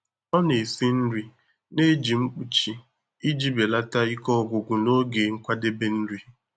Ọ na-esi nri na-eji mkpuchi iji belata ike ọgwụgwụ n'oge nkwadebe nri.